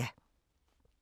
DR K